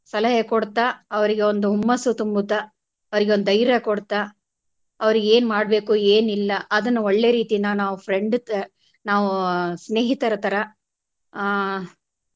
ಸಲಹೆ ಕೊಡ್ತಾ ಅವ್ರಿಗೆ ಒಂದು ಹುಮ್ಮಸ್ಸು ತುಂಬುತಾ ಅವರಿಗೆ ಒಂದು ಧೈರ್ಯ ಕೊಡ್ತಾ ಅವ್ರಿಗೆ ಏನ್ ಮಾಡಬೇಕು ಏನಿಲ್ಲ ಅದನ್ನ ಒಳ್ಳೆ ರೀತಿಯಿಂದ ನಾವು friend ತ~ ತರ ನಾವು ಸ್ನೇಹಿತರ ತರ ಹಾ.